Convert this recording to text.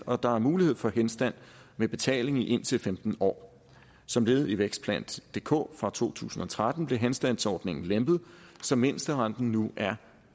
og der er mulighed for henstand med betaling i indtil femten år som led i vækstplan dk fra to tusind og tretten blev henstandsordningen lempet så mindsterenten nu er